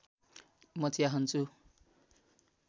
म चिया खान्छु